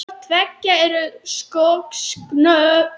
Hvort tveggja eru skosk nöfn.